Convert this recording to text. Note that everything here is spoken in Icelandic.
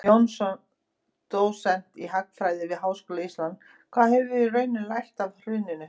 Jónsson, dósent í hagfræði við Háskóla Íslands: Hvað höfum við í rauninni lært af hruninu?